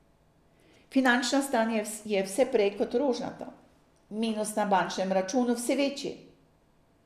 Finančno stanje je vse prej kot rožnato, minus na bančnem računu vse večji.